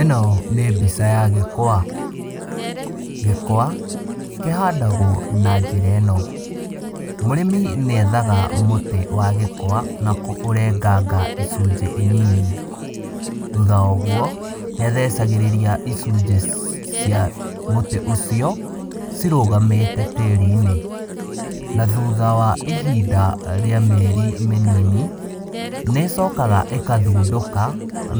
Ĩno nĩ mbica ya gwĩkwa, gĩkwa kĩhandagwo na njĩra ĩno, mũrĩmi nĩ ethaga mũtĩ wa gĩkwa na kũrenganga icunjĩ nini, thutha wa ũguo nĩ athecagĩrĩria icunjĩ cia mũtĩ ũcio cirũgamĩte tĩri-inĩ, na thutha wa ihinda rĩa mĩeri mĩnini, nĩ cokaga ĩgathundũka